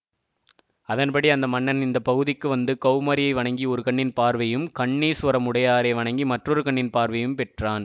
அதன்படி அந்த மன்னனும் இந்த பகுதிக்கு வந்து கௌமாரியை வணங்கி ஒரு கண்ணின் பார்வையும் கண்ணீசுவரமுடையாரை வணங்கி மற்றொரு கண்ணின் பார்வையையும் பெற்றான்